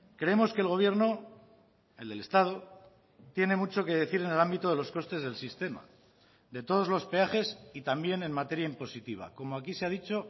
creemos que el gobierno el del estado tiene mucho que decir en el ámbito de los costes del sistema de todos los peajes y también en materia impositiva como aquí se ha dicho